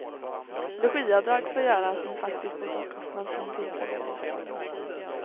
Logiavdrag får göras med faktisk bostadskostnad för den tillfälliga bostaden.